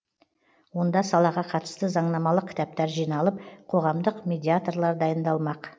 онда салаға қатысты заңнамалық кітаптар жиналып қоғамдық медиаторлар дайындалмақ